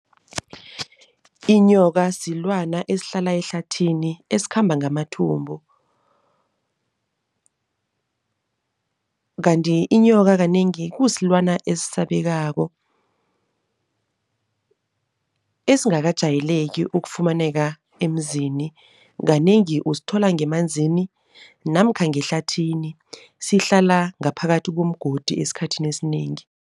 Inyoka silwana esihlala ehlathini esikhamba ngamathumbu. Kanti inyoka kanengi kusilwana esisabekako, esingakajayeleki ukufumaneka emzini. Kanengi usithola ngemanzini namkha ngehlathini. Sihlala ngaphakathi komgodi esikhathini esinengi.